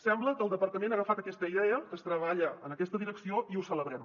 sembla que el departament ha agafat aquesta idea que es treballa en aquesta direcció i ho celebrem